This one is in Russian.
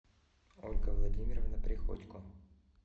ольга владимировна приходько